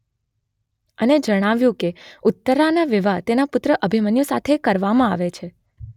અને જણાવ્યું કે ઉત્તરાના વિવાહ તેના પુત્ર અભિમન્યુ સાથે કરવામાં આવે છે